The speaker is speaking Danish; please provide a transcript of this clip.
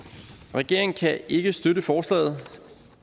regeringen kan ikke støtte forslaget